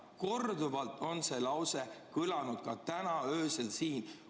" Korduvalt on see lause kõlanud ka täna öösel siin.